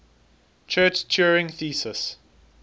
church turing thesis